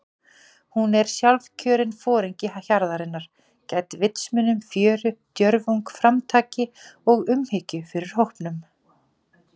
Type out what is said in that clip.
Hún er sjálfkjörinn foringi hjarðarinnar- gædd vitsmunum, fjöri, djörfung, framtaki og umhyggju fyrir hópnum.